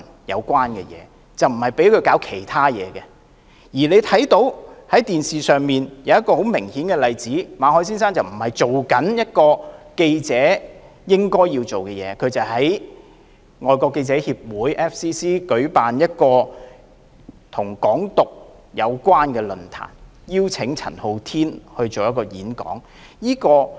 然而，大家可以從電視看到，馬凱先生並非在做記者應做的事，而是在外國記者會舉辦一個與"港獨"有關的論壇，邀請陳浩天演講。